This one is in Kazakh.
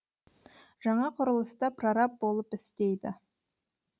жаңа құрылыста прораб болып істейді